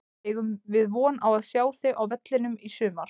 Eigum við von á að sjá þig á vellinum í sumar?